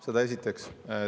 Seda esiteks.